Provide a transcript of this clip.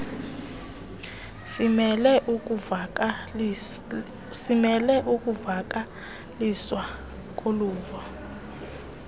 simele ukuvakaliswa koluvo